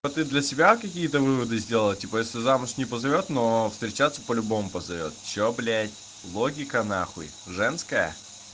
ты для себя какие-то выводы сделала типа если замуж не позовёт но встречаться по-любому позовёт что блять логика нахуй женская